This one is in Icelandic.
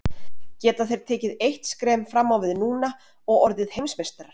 Geta þeir tekið eitt skref fram á við núna og orðið Heimsmeistarar?